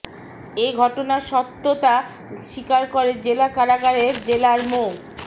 এ ঘটনার সত্যতা স্বীকার করে জেলা কারাগারের জেলার মো